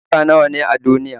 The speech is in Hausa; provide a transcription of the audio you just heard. Yarurruka nawa ne a duniya?